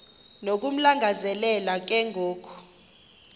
nokumlangazelela ke ngoku